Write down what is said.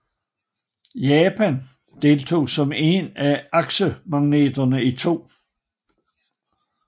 Japan deltog som en af aksemagterne i 2